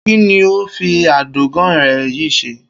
Kí ni o óò fi adògán re̩ yìí s̩e?